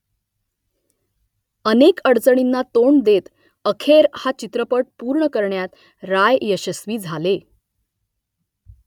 अनेक अडचणींना तोंड देत अखेर हा चित्रपट पूर्ण करण्यात राय यशस्वी झाले